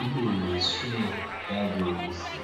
ilungiswe kakuhle